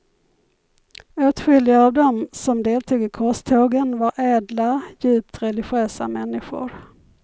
Åtskilliga av dem som deltog i korstågen var ädla, djupt religiösa människor.